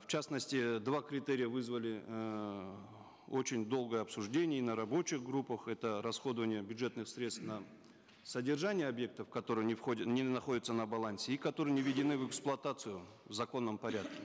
в частности э два критерия вызвали эээ очень долгое обсуждение и на рабочих группах это расходование бюджетных средств на содержание объектов которые не входят не находятся на балансе и которые не введены в эксплуатацию в законном порядке